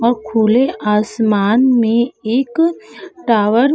औ खुले आसमान में एक टॉवर --